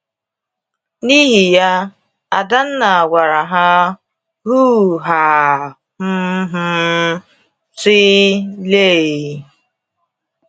N’ihi ya, Adana gwara ha hoo haa um, um sị: “ Lee!